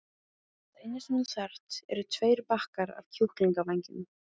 Það eina sem þú þarft eru tveir bakkar af kjúklingavængjum.